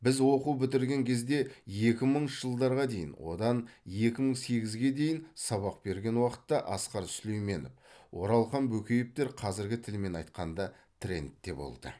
біз оқу бітірген кезде екі мыңыншы жылдарға дейін одан екі мың сегізге дейін сабақ берген уақытта асқар сүлейменов оралхан бөкеевтер қазіргі тілмен айтқанда трендте болды